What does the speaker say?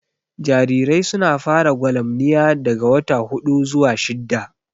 Jarirai su na fara gwalamniya daga wata huɗu zuwa shidda